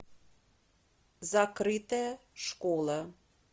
закрытая школа